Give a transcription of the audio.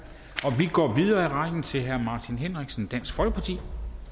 vi går videre i rækken til herre martin henriksen dansk folkeparti